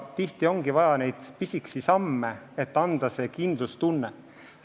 Tihti ongi vaja kas või pisikesi samme, et anda kindlustunne.